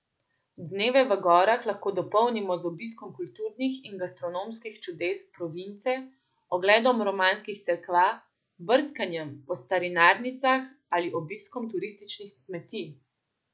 Dneve v gorah lahko dopolnimo z obiskom kulturnih in gastronomskih čudes province, ogledom romanskih cerkva, brskanjem po starinarnicah ali obiskom turističnih kmetij.